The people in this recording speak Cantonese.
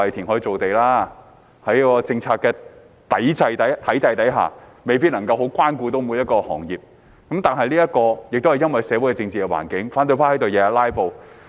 有一點吧，都是說要填海造地，在政策體制下，未必能夠關顧到每一個行業，但這是因為社會、政治環境，反對派天天在此"拉布"。